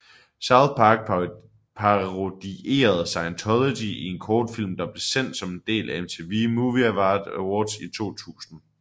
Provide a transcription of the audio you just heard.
South Park parodierede Scientology i en kortfilm der blev sendt som en del af MTV Movie Awards 2000